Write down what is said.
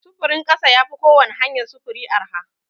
Sufurin ƙasa ya fi kowani hanyar sufuri arha.